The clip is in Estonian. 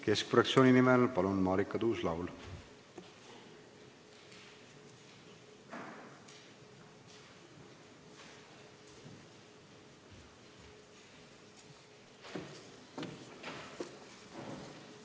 Keskerakonna fraktsiooni nimel palun, Marika Tuus-Laul!